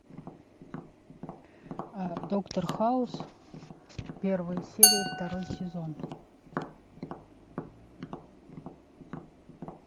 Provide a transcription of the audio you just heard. доктор хаус первая серия второй сезон